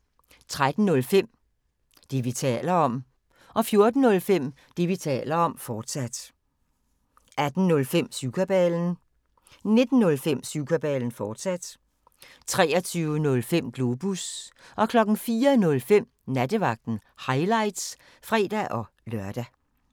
13:05: Det, vi taler om 14:05: Det, vi taler om, fortsat 18:05: Syvkabalen 19:05: Syvkabalen, fortsat 23:05: Globus 04:05: Nattevagten – highlights (fre-lør)